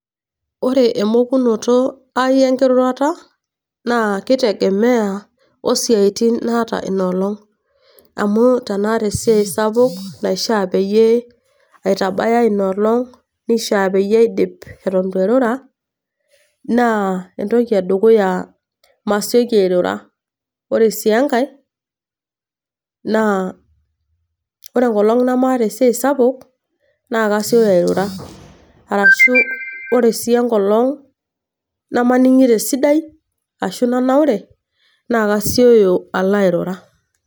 Ore emokunoto ai e enkirurata naa keitegemea o isiaitin naata Ina olong'. Amu tanaata esiai sapuk naishaa peyie aitaya Ina olong',neishaapeyie aidip eton eitu airura, naa entoki e dukuya naa masioki airura. Ore sii enkai naa ore enkolong' namaaata esiai sapuk naa kesioki airura arashu ore sii enkolong' namaning'ito esidai ashu nanaurre naa kasioyo alo airura.